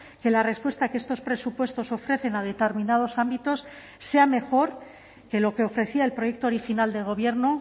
que la respuesta que estos presupuestos ofrecen a determinados ámbitos sea mejor que lo que ofrecía el proyecto original de gobierno